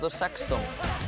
sextán